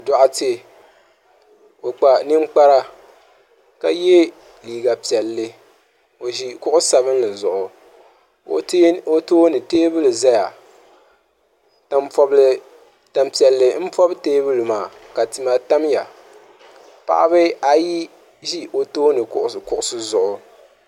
dɔɣite o kpa ninkpara ka ye liiga piɛlli o ʒi kuɣ' sabinli zuɣu o tooni teebuli zaya tan' piɛlli m-pɔbi teebuli maa ka tima tam ya paɣa ayi ʒi o tooni kuɣisi zuɣu.